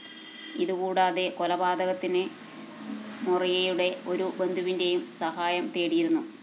ഇതുകൂടാതെ കൊലപാതതതിന് മൊറെയ്‌റയുടെ ഒരു ബന്ധുവിന്റേയും സഹായം തേടിയിരുന്നു